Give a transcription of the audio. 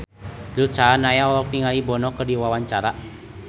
Ruth Sahanaya olohok ningali Bono keur diwawancara